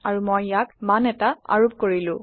আৰু মই ইয়াক মান এটা আৰোপ কৰিলো